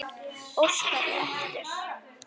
Óskari eftir.